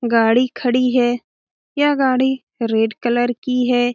गाड़ी खड़ी है यह गाड़ी रेड कलर की है।